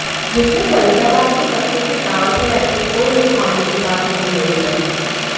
जिसमें फरीदाबाद के बच्चों के डांस और एक्टिंग को निखारने की बात कही गई हैं